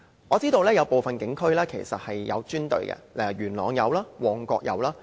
我知道部分警區其實設有專隊處理動物的案件，元朗有，旺角也有。